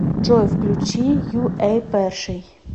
джой включи ю эй перший